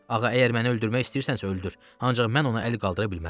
Ağa, əgər məni öldürmək istəyirsənsə, öldür, ancaq mən ona əl qaldıra bilmərəm.